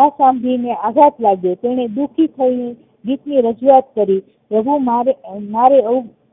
આ સાંભળીને આઘાત લાગ્યો તેને દુઃખી થાયને દ્વિતીય રજુવાત કરી કે હું મારે